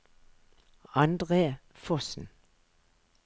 Andre Fossen